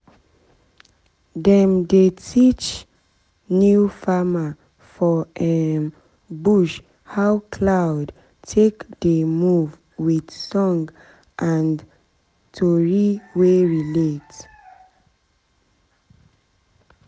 dem dey teach new farmer for um bush how cloud take dey move with song and tori wey relate